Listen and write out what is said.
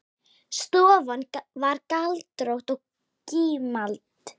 Stofan var galtómt gímald.